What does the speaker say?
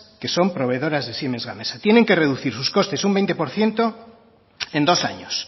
que son proveedoras de siemens gamesa tienen que reducir sus costes un veinte por ciento en dos años